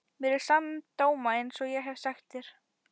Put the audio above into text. Mér er sama um dóma einsog ég hef sagt þér.